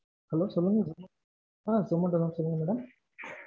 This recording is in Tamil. Hello சொல்லுங்க அஹ் zomato தான் சொல்லுங்க madam.